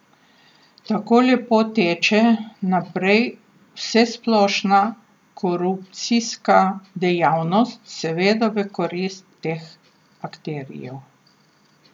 Tako lepo teče naprej vsesplošna korupcijska dejavnost, seveda v korist teh akterjev.